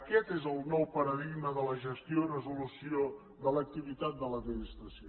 aquest és el nou paradigma de la gestió i resolució de l’activitat de l’administració